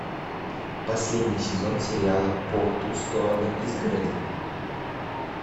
последний сезон сериала по ту сторону изгороди